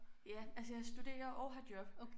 Ja altså jeg studerer og har job